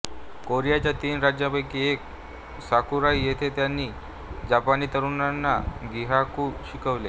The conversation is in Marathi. कोरियाच्या तीन राज्यांपैकी एक साकुराई येथे त्यांनी जपानी तरुणांना गिगाकू शिकवले